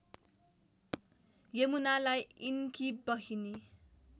यमुनालाई यिनकी बहिनी